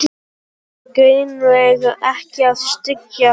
Það átti greinilega ekki að styggja